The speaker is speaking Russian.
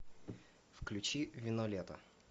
включи вино лета